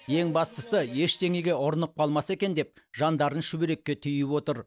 ең бастысы ештеңеге ұрынып қалмаса екен деп жандарын шүберекке түйіп отыр